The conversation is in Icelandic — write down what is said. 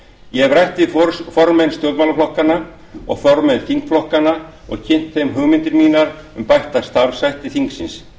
ég hef rætt við formenn stjórnmálaflokkanna og formenn þingflokkanna og kynnt þeim hugmyndir mínar um bætta starfshætti þingsins